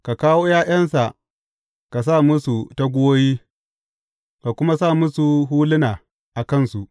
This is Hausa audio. Ka kawo ’ya’yansa, ka sa musu taguwoyi, ka kuma sa musu huluna a kansu.